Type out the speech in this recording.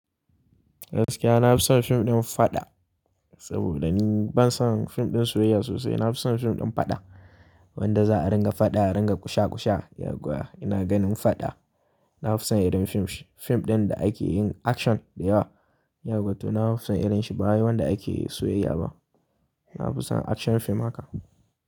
Gaskiya nafi son fim ɗin faɗa saboda ni ban son fim ɗin soyayya sosai. Gaskiya nafi son fim ɗin faɗa saboda ni ban son fim ɗin soyayya sosai. Yawwa, ina ganin faɗa. Nafi son irin fim ɗin da ake yin action da yawa. Yawwato na fi son irin shi ba wai wanda ake yin soyayya ba. Na fi son action fim haka.